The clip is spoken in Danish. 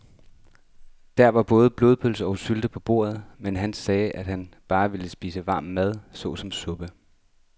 Der var både blodpølse og sylte på bordet, men han sagde, at han bare ville spise varm mad såsom suppe.